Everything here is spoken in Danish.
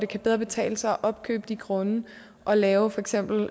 kan betale sig opkøbe grunde og lave for eksempel